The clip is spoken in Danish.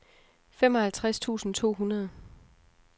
femoghalvtreds tusind to hundrede